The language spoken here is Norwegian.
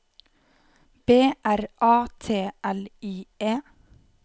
B R A T L I E